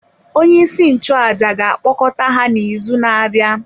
Onyeisi nchụàjà ga-akpọkọta ha n’izu na-abịa.